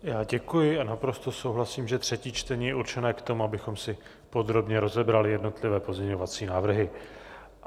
Já děkuji a naprosto souhlasím, že třetí čtení je určené k tomu, abychom si podrobně rozebrali jednotlivé pozměňovací návrhy.